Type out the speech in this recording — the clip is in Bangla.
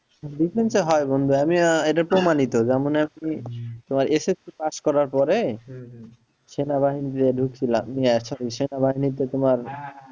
Defence এর হয় বন্ধু আমি আহ এটা প্রমাণিত যেমন আপনি তোমার SSC pass করার পরে সেনাবাহিনী তে ঢুকছিলাম নিয়ে সেনাবাহিনী তে তোমার